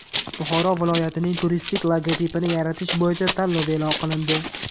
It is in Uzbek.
Buxoro viloyatining turistik logotipini yaratish bo‘yicha tanlov e’lon qilindi.